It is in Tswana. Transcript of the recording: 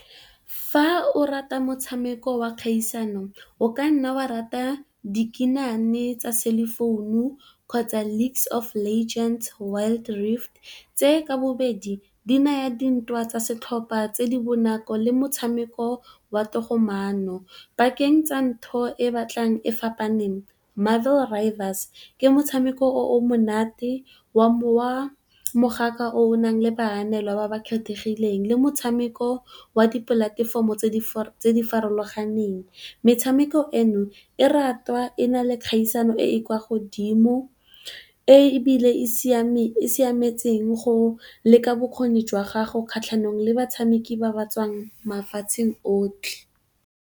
Fa o rata motshameko wa kgaisano o ka nna wa rata dikinane tsa cellphone kgotsa Leakes of legends, Wild rift, tse ka bobedi di naya dintwa tsa setlhopha tse di bonako le motshameko wa togamaano. Bakeng tsa ntho e batlang e fapaneng Marvel rivals ke motshameko o o monate wa mowa mogaka o nang le baanelwa ba ba kgethegileng le motshameko wa dipolatefomo tse di farologaneng. Metshameko eno e ratwa e na le kgaisano e e kwa godimo ebile e e siametseng go leka bokgoni jwa gago kgatlhanong le batshameki ba ba tswang mafatsheng otlhe.